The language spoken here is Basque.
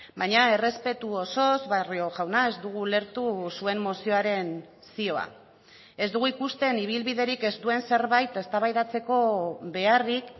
baina errespetu osoz barrio jauna ez dugu ulertu zuen mozioaren zioa ez dugu ikusten ibilbiderik ez duen zerbait eztabaidatzeko beharrik